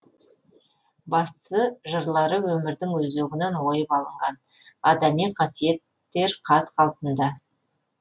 бастысы жырлары өмірдің өзегінен ойып алынған адами қасиеттер қаз қалпында